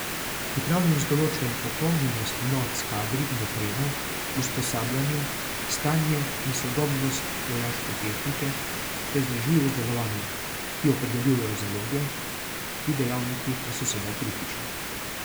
Pripravljenost določajo popolnjenost enot s kadri in opremo, usposabljanje, stanje in sodobnost vojaške tehnike ter vzdržljivost delovanja, ki jo opredeljujejo zaloge, ti dejavniki pa so sedaj kritični.